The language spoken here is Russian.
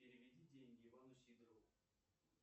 переведи деньги ивану сидорову